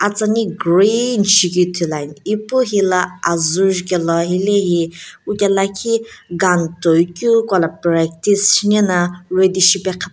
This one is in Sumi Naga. atsani green shikeu Ithulu ani ipu hela azu juke la hile hi kuke lakhi gun toikeu kuila practice shinae na.